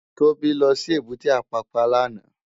Tobi lò sí ébùté Apàpá làná